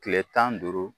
Kile tan ni duuru